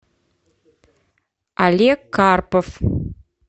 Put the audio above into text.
олег карпов